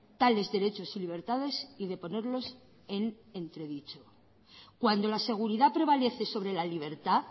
tales derechos y libertades y de ponerlos en entredicho cuando la seguridad prevalece sobre la libertad